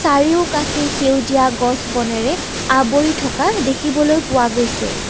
চাৰিওকাষে সেউজীয়া গছ বনেৰে আবৰি থকা দেখিবলৈ পোৱা গৈছে।